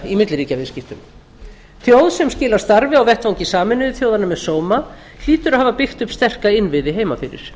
í milliríkjasamskiptum þjóð sem skilar starfi á vettvangi sameinuðu þjóðanna með sóma hlýtur að hafa byggt upp sterka innviði heimafyrir